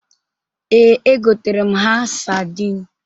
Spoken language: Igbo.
Ee, egotere m ha sadịn.